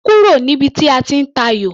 Kúrò níbi tí a ti ń tayò!